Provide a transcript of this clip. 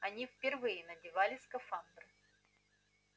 они впервые надевали скафандры